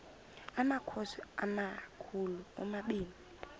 amakhosi amakhulu omabini